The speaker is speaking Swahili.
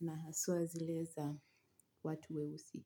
na haswa zile za watu weusi.